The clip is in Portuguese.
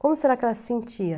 Como será que ela se sentia?